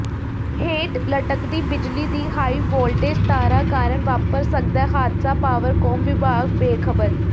ਹੇਠ ਲੱਟਕਦੀ ਬਿਜਲੀ ਦੀ ਹਾਈਵੋਲਟੇਜ ਤਾਰਾਂ ਕਾਰਨ ਵਾਪਰ ਸਕਦੈ ਹਾਦਸਾ ਪਾਵਰਕੌਮ ਵਿਭਾਗ ਬੇਖ਼ਬਰ